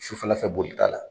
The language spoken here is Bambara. Su fɛla fɛ boli taa la.